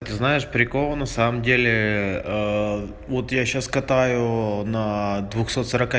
ты знаешь прикол на самом деле вот я сейчас катаю на двухсот сорока